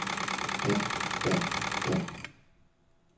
dag dag dag